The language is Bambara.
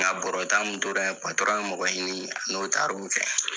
Nka bɔrɔta min tora in ye mɔgɔɲini a n'o taar'o kɛ.